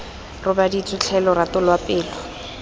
robaditswe tlhe lorato lwa pelo